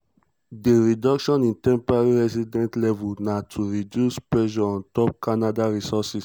di reduction in temporary resident levels na to reduce pressure ontop canada resources.